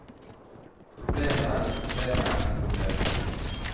problemer problemer problemer